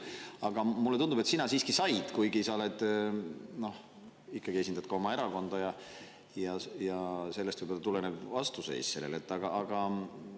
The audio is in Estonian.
Aga mulle tundub, et sina siiski said, kuigi sa esindad oma erakonda ja sellest võib-olla tuleneb sinu vastuseis sellele.